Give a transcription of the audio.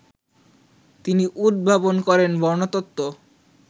তিনি উদ্ভাবন করেন বর্ণতত্ত্ব